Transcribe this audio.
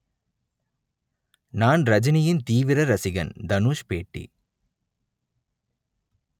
நான் ரஜினியின் தீவிர ரசிகன் தனுஷ் பேட்டி